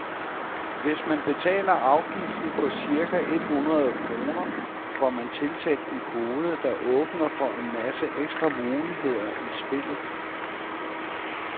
Hvis man betaler afgiften på cirka et hundrede kroner, får man tilsendt en kode, der åbner for en masse ekstra muligheder i spillet.